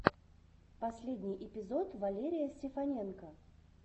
последний эпизод валерия сефаненко